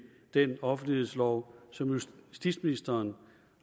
den offentlighedslov som justitsministeren